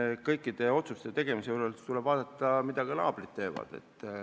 Eks kõikide otsuste tegemise juures tuleb ka vaadata, mida naabrid teevad.